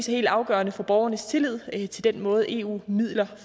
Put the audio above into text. helt afgørende for borgernes tillid til den måde eu midler